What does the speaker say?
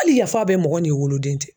Hali yafa bɛ mɔgɔ n'i woloden cɛ.